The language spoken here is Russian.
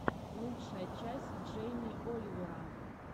лучшая часть джейми оливера